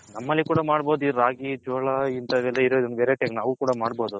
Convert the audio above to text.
ನಮ್ಮಲ್ಲಿ ಕೂಡ ಮಾಡ್ಬೋದು ಈ ರಾಗಿ ಜೋಳ ನಾವು ಕೂಡ ಮಾಡ್ಬೋದು.